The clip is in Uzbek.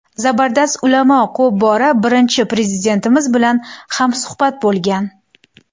Zabardast ulamo ko‘p bora Birinchi Prezidentimiz bilan hamsuhbat bo‘lgan.